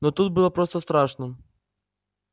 но тут было просто страшно